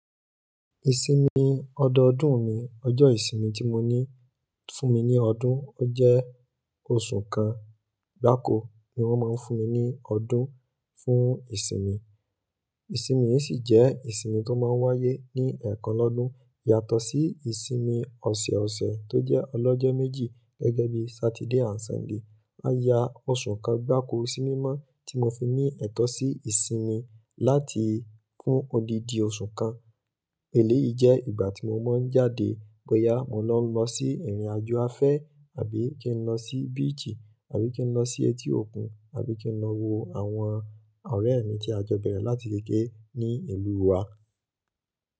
Ìsinmi ọdọọdún mi, ọjọ́ ìsinmi tí mo ní fún mi ní ọdún, ó jẹ́ oṣù kan gbáko ni wọ́n máa ń fún mi ní ọdún fún ìsinmi. Ìsinmi yìí sì jẹ́ ìsinmi tó máa ń wáyé ní ẹ̀ẹ̀kan lọ́dún yàtọ̀ sí ìsinmi ọ̀sẹ̀ọ̀sẹ̀ tó jẹ́ ọlọ́jọ́ méjì gẹ́gẹ́ bí Saturday and Sunday. Máa yá oṣù kan gbáko sí mímọ́ tí mo fi ní ẹ̀tọ́ sí ìsinmi láti fún odidi oṣù kan. Èléyìí jẹ́ ìgbà tí mo máa ń jáde bọ́yá mo lọ́ lọ sí ìrìnàjò afẹ́ àbí kí n lọ sí beach àbí kí n lọ sí etí òkun àbí kí n lọ wo àwọn ọ̀rẹ́ mi tí a jọ bẹ̀rẹ̀ láti kéékèè ní ìlú wa.